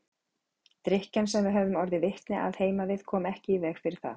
Drykkjan sem við höfðum orðið vitni að heima við kom ekki í veg fyrir það.